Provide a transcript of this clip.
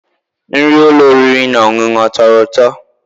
Nri ụlọ oriri na ọṅụṅụ ọ tọrọ ụtọ?